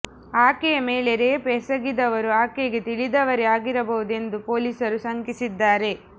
ಆಕೆಯ ಮೇಲೆ ರೇಪ್ ಎಸಗಿದವರು ಆಕೆಗೆ ತಿಳಿದವರೇ ಆಗಿರಬಹುದು ಎಂದು ಪೊಲೀಸರು ಶಂಕಿಸಿದ್ದಾರೆ